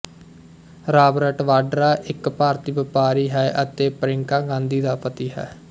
Robert Vadra ਇੱਕ ਭਾਰਤੀ ਵਪਾਰੀ ਅਤੇ ਪ੍ਰਿਯੰਕਾ ਗਾਂਧੀ ਦਾ ਪਤੀ ਹੈ